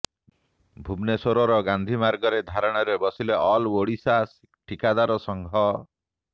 ଭୁବନେଶ୍ୱର ଗାନ୍ଧୀମାର୍ଗରେ ଧାରଣାରେ ବସିଲେ ଅଲ୍ ଓଡ଼ିଶା ଠିକାଦାର ସଂଘ